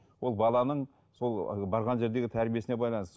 ол баланың сол барған жердегі тәрбиесіне байланысты